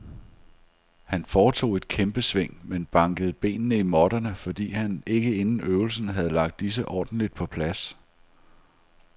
Han foretog et kæmpesving, men bankede benene i måtterne, fordi han ikke inden øvelsen havde lagt disse ordentligt på plads.